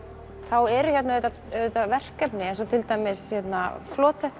þá eru hér auðvitað verkefni eins og til dæmis